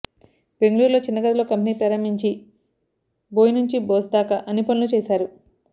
బెంగళూరులో చిన్నగదిలో కంపెనీ ప్రారంభించి బోయ్ నుంచి బాస్ దాకా అన్ని పనులూ చేశారు